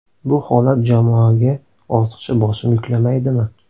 Bu holat jamoaga ortiqcha bosim yuklamaydimi?